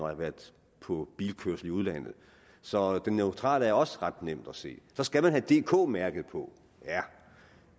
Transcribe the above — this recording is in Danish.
har været på bilkørsel i udlandet så den neutrale er også ret nem at se så skal man have dk mærket på ja